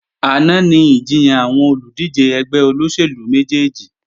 Àná ni ìjiyàn àwọn olùdíje ẹgbẹ́ olóṣèlú méjèjì